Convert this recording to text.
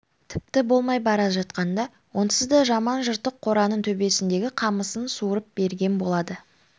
тіпті болмай бара жатқанда онсыз да жаман жыртық қораның төбесіндегі қамысын суырып берген болады